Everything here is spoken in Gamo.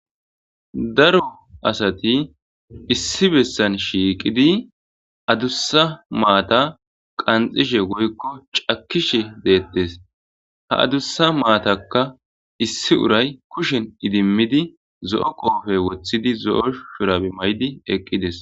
daro asati issi bessan shiiqidi adussa maata qanxishe goykko cakishe deettes ha adussa maatakka issi uray kushen idimmidi zo7o qoofe woththidi zo7o shurabi maydi eqqides